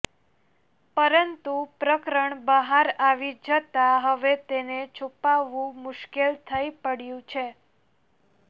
પરંતુ પ્રકરણ બહાર આવી જતા હવે તેને છુપાવવું મુશ્કેલ થઈ પડયું છે